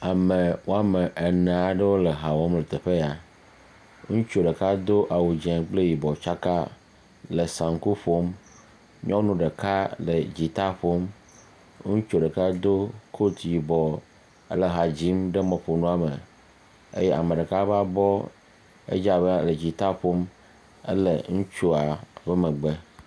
Ame woame ene aɖewo le ha wɔm le teƒe ya, ŋutsu ɖeka do awu dzee kple yibɔ tsaka le saŋku, ƒom, nyɔnu ɖeka le dzita ƒom, ŋutsu ɖeka do kot yibɔ le ha dzim ɖe mɔƒonua me, eye ame ɖeka ƒe abɔ, edze abe ele dzita ƒom ele ŋutsua ƒe megbe.